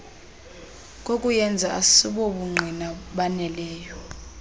kokuyenza asibobungqina baneleyo